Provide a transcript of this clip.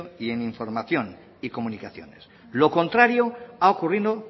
y en información y comunicaciones lo contrario ha ocurrido